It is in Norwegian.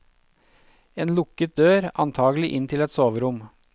En lukket dør, antakelig inn til et soverom.